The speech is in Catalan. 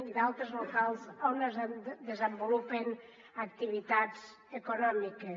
i d’altres locals on es desenvolupen activitats econòmiques